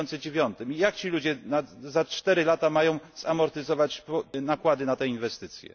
2009. Jak ci ludzie przez 4 lata mają zamortyzować nakłady na te inwestycje?